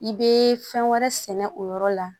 I bɛ fɛn wɛrɛ sɛnɛ o yɔrɔ la